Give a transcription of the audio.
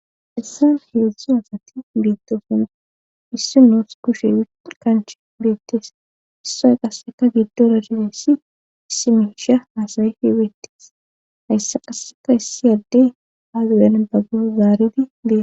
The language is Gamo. Hessan heezzu asati biittosina issi noos kushe ikanch beettees issay qasseka giddora dileessi issi meisha naasayifi beettes hayssa qasseka issi adde aazuwen baggo zaaridi dees.